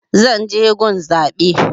Zan je gun zaɓe